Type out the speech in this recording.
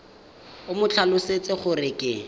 o mo tlhalosetse gore ke